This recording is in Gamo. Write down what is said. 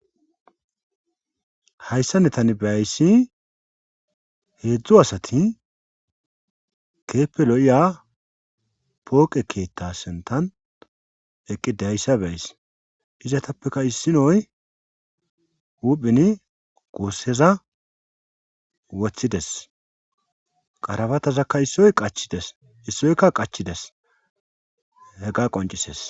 hayssane tan be ayssi heedzdzu asati keeppe lo7iya pooqe keetta sentan eqqidayssa beys izatappeka issinoy uphini gosseza wothides qarabatazakka issoy qachides issoykka qachides he ga qoncises